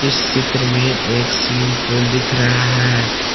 इस चित्र में एक स्विमिंग पूल दिख रहा है।